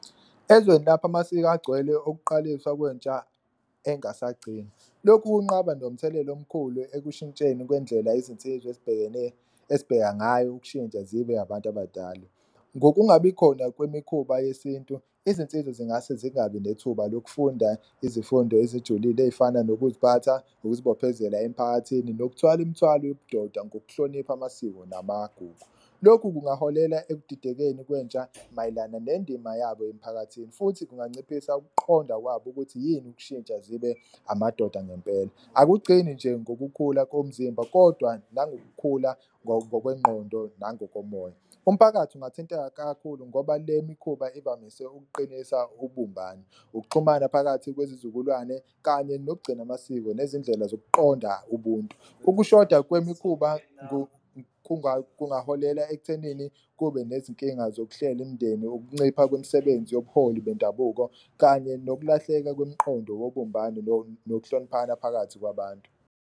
Ezweni lapho amasiko agcwele ukuqaliswa kwentsha engasagcini lokhu kunqaba nomthelela omkhulu ekushintsheni kwendlela izinsizwa ezibheka ngayo ukushintsha zibe abantu abadala. Ngokungabi khona kwemikhuba yesintu izinsiza zingase zingabi nethuba lokufunda izifundo ezijulile, ey'fana nokuziphatha, ukuzibophezela emphakathini nokuthwala umthwalo yobudoda, ngokuhlonipha amasiko namagugu. Lokhu kungaholela ekudidekeni kwentsha mayelana nendima yabo emphakathini futhi kunganciphisa ukuqonda kwabo ukuthi yini ukushintsha zibe amadoda ngempela. Akugcini nje ngokukhula komzimba kodwa nangokukhula ngokwengqondo nangokomoya. Umphakathi ungathinteka kakhulu ngoba le mikhuba ivamise ukuqinisa ubumbano, ukuxhumana phakathi kwezizukulwane kanye nokugcina amasiko nezindlela zokuqonda ubuntu. Ukushoda kwemikhuba kungaholela ekuthenini kube nezinkinga zokuhlela imndeni, ukuncipha kwemisebenzi yobuholi bendabuko kanye nokulahleka kwemqondo wobumbano nokuhloniphana phakathi kwabantu.